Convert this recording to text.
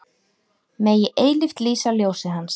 Megi eilíft lýsa ljósið Hans.